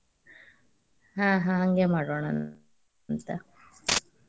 ಹ್ಮ್ ಹ್ಮ್ ಹಂಗೇ ಮಾಡೋಣ ಅಂತ.